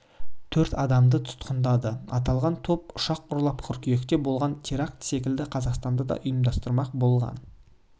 төрт адамды тұтқындады аталған топ ұшақ ұрлап қыркүйекте болған теракті секілді қазақстанда да ұйымдастырмақ болған